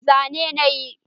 Zane na yi